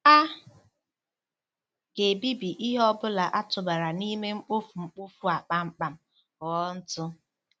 A ga-ebibi ihe ọ bụla a tụbara n'ime mkpofu mkpofu a kpamkpam, ghọọ ntụ.